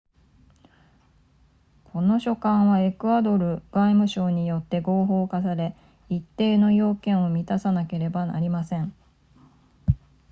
この書簡はエクアドル外務省によって合法化され一定の要件を満たさなければなりません